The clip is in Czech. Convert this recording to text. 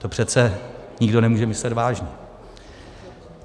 To přece nikdo nemůže myslet vážně.